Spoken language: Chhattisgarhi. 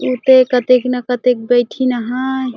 उ त एक कतेक न कतेक बइठीं हाय।